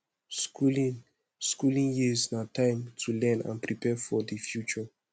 skooling skooling years na time to learn and prepare for di future